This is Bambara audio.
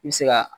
I bɛ se ka